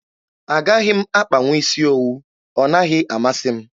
Agaghị m akpanwu isi owu. Ọ naghị amasị m.